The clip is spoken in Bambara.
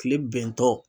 Kile bɛntɔ